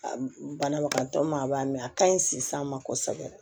Banabagatɔ ma ban a ka ɲi sisan ma kosɛbɛ